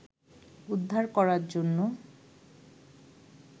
উদ্ধার করার জন্য